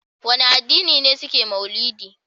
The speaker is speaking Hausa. Wane addini ne suke mauludi?